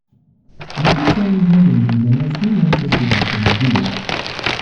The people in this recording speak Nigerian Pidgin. you fit tell me how them dey organize new yam festival for una village?